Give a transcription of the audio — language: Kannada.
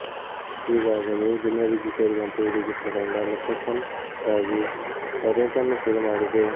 ಈಗಾಗಲೇ ದುನಿಯಾ ವಿಜಿ ಸೇರಿದಂತೆ ಇಡೀ ಚಿತ್ರತಂಡ ಲೊಕೇಶನ್ ಗಾಗಿ ಪರ್ಯಟನೆ ಶುರು ಮಾಡಿದೆ